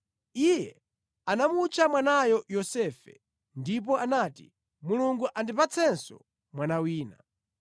Iye anamutcha mwanayo Yosefe, ndipo anati, “Mulungu andipatsenso mwana wina.”